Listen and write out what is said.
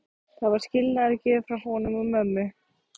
Það var skilnaðargjöf frá honum og mömmu.